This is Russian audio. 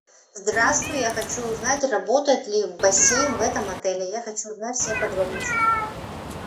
здравствуй я хочу узнать работает ли бассейн в этом отеле я хочу узнать все подробности